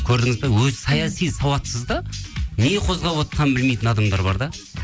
көрдіңіз бе өзі саяси сауатсыз да не қозғап отырғанын білмейтін адамдар бар да